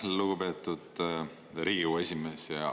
Aitäh, lugupeetud Riigikogu esimees!